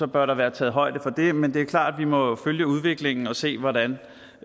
bør der være taget højde for det men det er klart at vi må følge udviklingen og se hvordan